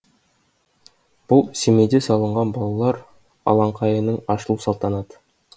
бұл семейде салынған балалар алаңқайының ашылу салтанаты